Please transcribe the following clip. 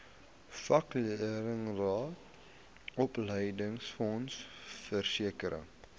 vakleerlingraad opleidingsfonds versekering